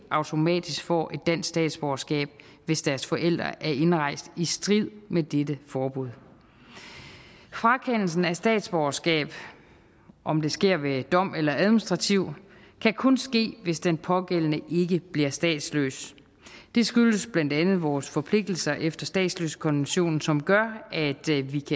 automatisk får et dansk statsborgerskab hvis deres forældre er indrejst i strid med dette forbud frakendelse af statsborgerskab om det sker ved dom eller administrativt kan kun ske hvis den pågældende ikke bliver statsløs det skyldes blandt andet vores forpligtelser efter statsløsekonventionen som gør